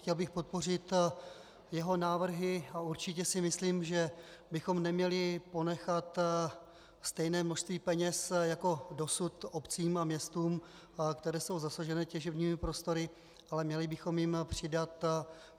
Chtěl bych podpořit jeho návrhy a určitě si myslím, že bychom neměli ponechat stejné množství peněz jako dosud obcím a městům, které jsou zasažené těžebními prostory, ale měli bychom jim přidat.